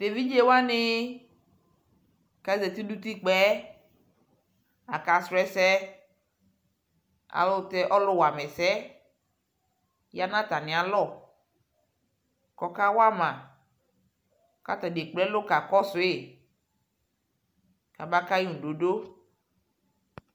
Tʋevidzewani kʋ azati nʋ utikpa yɛ asrɔ ɛsɛ alyʋɛlʋtɛ ɔlʋwama ɛsɛ yɛ ya nʋ atami alɔ kʋ ɔkawama kʋ atani ekple ɛlʋ kakɔsu kabakayʋ ŋʋdodo